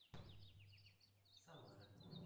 самары